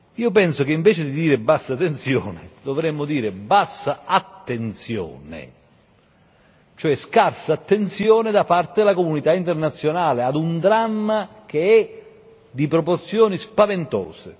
Io penso che invece di dire bassa tensione dovremmo dire bassa attenzione, cioè scarsa attenzione da parte della comunità internazionale ad un dramma che è di proporzioni spaventose.